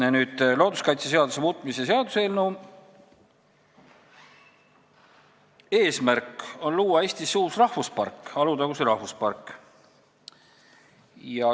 Aga nüüd looduskaitseseaduse muutmise seaduse eelnõu juurde, mille eesmärk on luua Eestisse uus rahvuspark, Alutaguse rahvuspark.